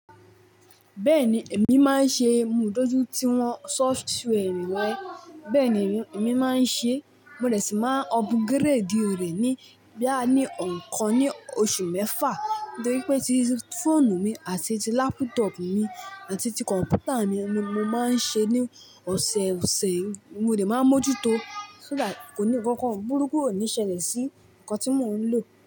Bẹ́ẹ̀ni, èmi máa ń ṣe ìmúdójú ti wọn software mi rẹ. Bẹ́ẹ̀ni, èmi máa ń ṣe, mo dẹ̀ sì máa upgrade rẹ̀ ní bíà ní ẹ̀kan ní oṣù mẹ́fà. Nítorí pé ti fóònù mi àti ti laptop mi àti ti kọ̀ǹpútà mi mo máa ń ṣe ní ọ̀sẹ̀ọ̀sẹ̀. Mo dẹ̀ máa mójú tó, so that kò ní kankan burúkú ò ní ṣẹlẹ̀ sí ǹkan tí mò ń lò.